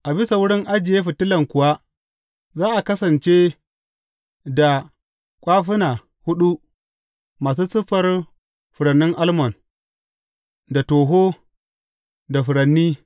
A bisa wurin ajiye fitilan kuwa za a kasance da kwafuna huɗu masu siffar furannin almon, da toho, da furanni.